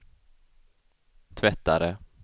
tvättare